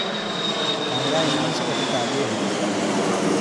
Gaigai inam soketitab wemo